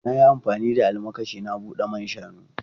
Na yi amfani da almakashi na bude man shanu.